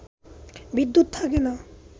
বিদ্যুৎ থাকে না